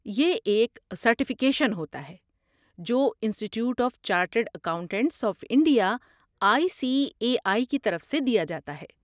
یہ ایک سرٹیفکیشن ہوتا ہے جو Institute of Chartered Accountants of India I C A I کی طرف سے دیا جاتا ہے